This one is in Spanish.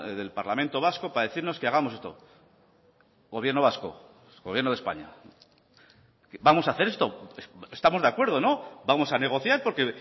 del parlamento vasco para decirnos que hagamos esto gobierno vasco gobierno de españa vamos a hacer esto estamos de acuerdo vamos a negociar porque